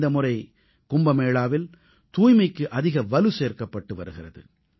இந்த முறை கும்பமேளாவில் தூய்மைக்கு அதிக வலு சேர்க்கப்பட்டு வருகிறது